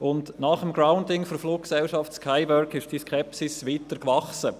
Nach dem Grounding der Fluggesellschaft Skywork ist die Skepsis weiter gewachsen.